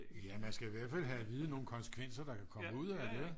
Ja man skal i hvert fald have at vide nogle konsekvenser der kan komme ud af det ikke